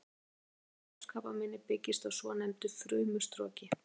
Leitin að leghálskrabbameini byggist á svonefndu frumustroki.